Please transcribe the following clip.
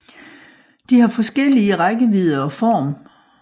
De har forskellige rækkevidde og form